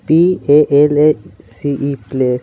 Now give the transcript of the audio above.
P A L A C E place .